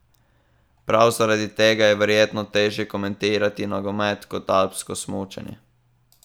Prav zaradi tega je verjetno težje komentirati nogomet kot alpsko smučanje.